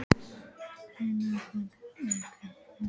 Reynar, hvað er klukkan?